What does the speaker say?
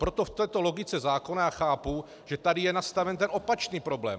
Proto v této logice zákona já chápu, že tady je nastaven ten opačný problém.